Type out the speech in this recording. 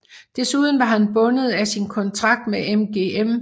Desuden var han bundet af sin kontrakt med MGM